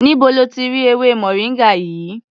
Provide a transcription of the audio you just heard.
Níbo lo ti rí ewémoringa yìí?